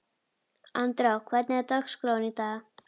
Andrá, hvernig er dagskráin í dag?